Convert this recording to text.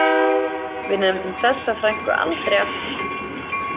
Við nefndum þessa frænku aldrei aftur.